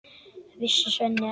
Vissi Svenni ekki?